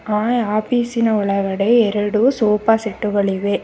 ಆ ಆಫೀಸಿನ ಒಳಗಡೆ ಎರಡು ಸೋಫಾ ಸೆಟ್ ಗಳಿವೆ.